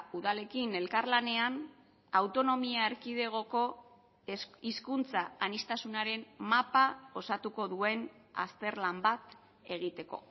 udalekin elkarlanean autonomia erkidegoko hizkuntza aniztasunaren mapa osatuko duen azterlan bat egiteko